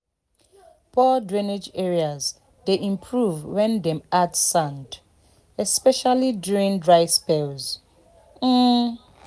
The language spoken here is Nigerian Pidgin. poor drainage areas dey improve when dem add sand especially during dry spells. um